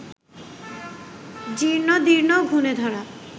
জীর্ণদীর্ণ, ঘুণেধরা